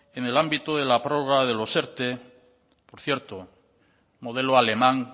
en el ámbito de la prórroga de los erte por cierto modelo alemán